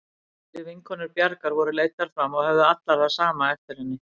Fleiri vinkonur Bjargar voru leiddar fram og höfðu allar það sama eftir henni.